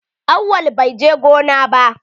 Awwal bai je gona ba.